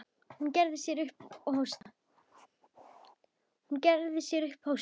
Hún gerði sér upp hósta.